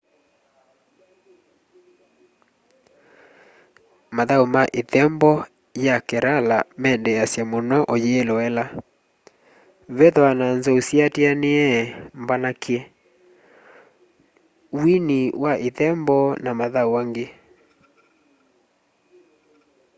mathau ma ithembo ya kerala mendeesya muno uyiloela vethwaa na nzou syiatianie mbanakavye wini wa ithembo na mathau angi